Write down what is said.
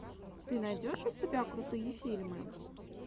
ты найдешь у себя крутые фильмы